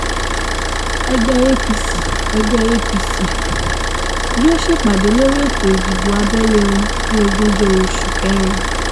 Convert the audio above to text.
ẹgbẹ́ apc ẹgbẹ́ apc yóò ṣèpàdé lórí ètò ìdìbò abẹ́lé wọn ní ogúnjọ́ oṣù kẹrin